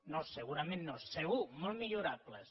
no segurament no segur molt millorables